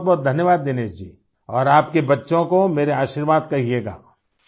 بہت بہت شکریہ دنیش جی اور اپنےبچوں کو میرا آشیرواد دییجئے گا